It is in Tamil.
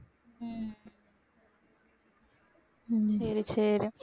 உம் உம் சரி சரி